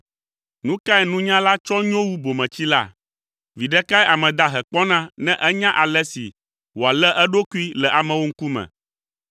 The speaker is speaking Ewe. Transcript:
Nu kae nunyala tsɔ nyo wu bometsila? Viɖe kae ame dahe kpɔna ne enya ale si wòalé eɖokui le amewo ŋkume?